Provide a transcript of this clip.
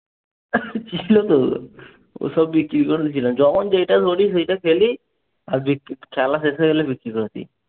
ছিলো তো? ওসব বিক্রি করে যখন যেটা ধরি সেটা খেলি। আর খেলা শেষ হলে বিক্রি করে দেই।